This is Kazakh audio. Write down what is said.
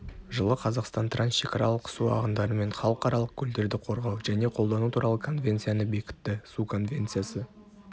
жылы қазақстан трансшекаралық су ағындары мен халықаралық көлдерді қорғау және қолдану туралы конвенцияны бекітті су конвенциясы